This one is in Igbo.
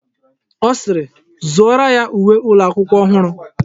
Ọ sịịrị, zụọrọ ya uwe ụlọakwụkwọ ọhụrụ!